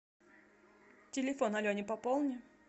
телефон алене пополни